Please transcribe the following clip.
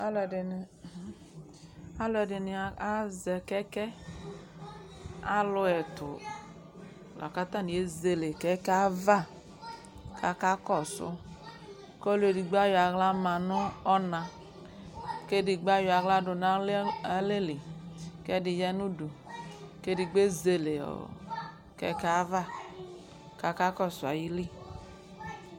Alʋɛdɩnɩ alʋɛdɩnɩ azɛ kɛkɛ Alʋ ɛtʋ la kʋ atanɩ ezele kɛkɛ yɛ ava kʋ akakɔsʋ kʋ ɔlʋ edigbo ayɔ aɣla ma nʋ ɔna kʋ edigbo ayɔ aɣla dʋ nʋ alɛ li kʋ ɛdɩ ya nʋ udu kʋ edigbo ezele ɔ kɛkɛ yɛ ava kʋ akakɔsʋ ayili